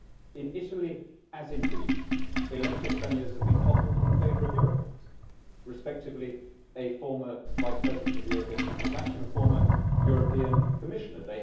In Italy as in Greece, elected premiers have been toppled in favour of Eurocrats respectively, a former Vice President of the European Central Bank and a former European Commissioner.